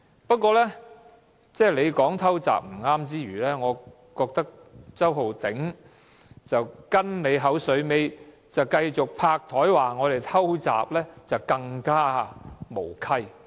不過，你說"偷襲"是不對之餘，我覺得周浩鼎議員跟你"口水尾"，拍檯說我們"偷襲"，就更加無稽。